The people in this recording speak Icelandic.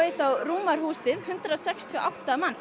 þá rúmar húsið hundrað sextíu og átta manns